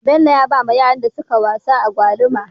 Bello ya bawa yaran da suka wasa agwaluma